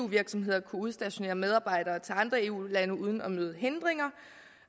virksomheder kunne udstationere medarbejdere andre eu lande uden at møde hindringer